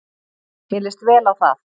Mér lýst vel á það.